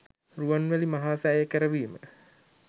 රුවන්මැලි මහා සෑය කරවීම